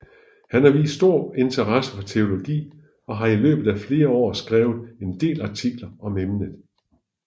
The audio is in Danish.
Han har udvist stor interesse for teologi og har i løbet af flere år skrevet en del artikler om emnet